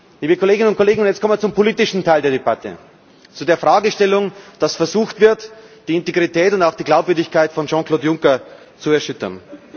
Liebe Kolleginnen und Kollegen, jetzt kommen wir zum politischen Teil der Debatte, zu der Fragestellung, dass versucht wird, die Integrität und auch die Glaubwürdigkeit von Jean Claude Juncker zu erschüttern.